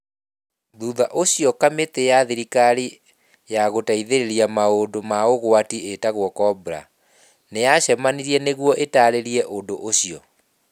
Thutha ũcio kamĩtĩ ya thirikari ya gũteithĩrĩria maũndũ ma ũgwati ĩtagwo cobra, nĩ yacemanirie nĩguo ĩtaarĩrie ũndũ ũcio.